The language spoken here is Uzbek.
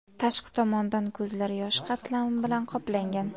Tashqi tomondan ko‘zlar yosh qatlami bilan qoplangan.